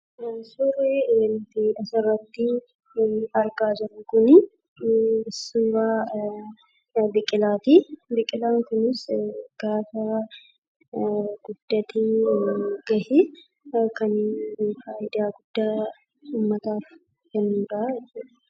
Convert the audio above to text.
Suurri nuti asirratti argaa jirru kunii, suuraa biqilati. Biqilan kunis gaafa guddatee ga'e faayidaa guddaa uummataaf kennudha jechuudha.